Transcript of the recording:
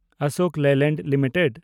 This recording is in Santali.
ᱟᱥᱳᱠ ᱞᱮᱭᱞᱮᱱᱰ ᱞᱤᱢᱤᱴᱮᱰ